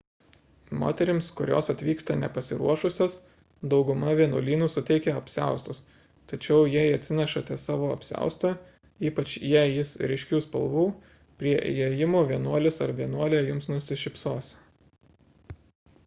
moterims kurios atvyksta nepasiruošusios dauguma vienuolynų suteikia apsiaustus tačiau jei atsinešate savo apsiaustą ypač jei jis ryškių spalvų prie įėjimo vienuolis ar vienuolė jums nusišypsos